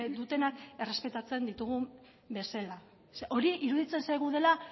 dutenak errespetatzen ditugun bezala hori iruditzen zaigu dela